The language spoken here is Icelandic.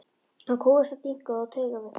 Hann kúgaðist af þynnku og taugaveiklun.